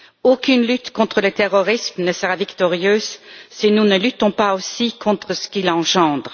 Aucune lutte contre le terrorisme ne sera victorieuse si nous ne luttons pas aussi contre ce qui l'engendre.